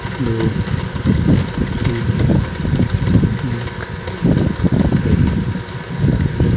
धूप भी दिख रही है।